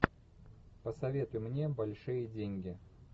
посоветуй мне большие деньги